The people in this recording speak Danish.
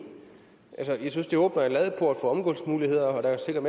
jeg synes det åbner en ladeport for omgåelsesmuligheder der er sikkert